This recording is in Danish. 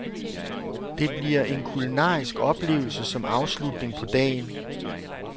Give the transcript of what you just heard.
Det bliver en kulinarisk oplevelse som afslutning på dagen.